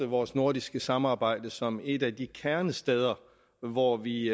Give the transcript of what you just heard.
vores nordiske samarbejde som et af de kernesteder hvor vi